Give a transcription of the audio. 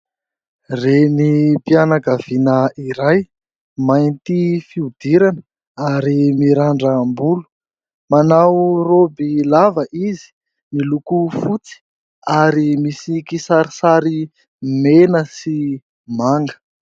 Renim-pianakaviana iray, mainty fihodirana ary mirandram-bolo, manao roby lava izy miloko fotsy ary misy kisarisary mena sy manga.